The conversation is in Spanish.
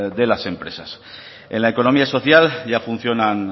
de las empresas en la economía social ya funcionan